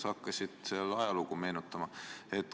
Sa hakkasid vastates ajalugu meenutama.